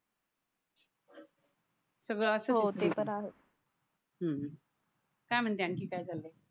सगळं असं होतंय ते तर आहे हम्म काय म्हणते आणखी काय चाललंय